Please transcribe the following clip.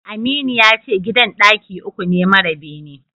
Aminu yace gidan ɗaki uku ne mara bene.